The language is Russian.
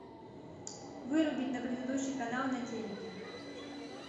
вырубить на предыдущий канал на телике